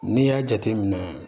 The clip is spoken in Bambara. N'i y'a jate minɛ